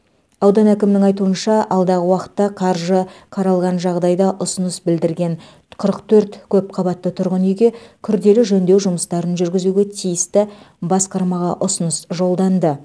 аудан әкімінің айтуынша алдағы уақытта қаржы қаралған жағдайда ұсыныс білдірген қырық төрт көпқабатты тұрғын үйге күрделі жөндеу жұмыстарын жүргізуге тиісті басқармаға ұсыныс жолданды